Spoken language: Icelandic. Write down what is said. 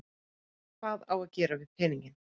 Hvað á að gera við peninginn?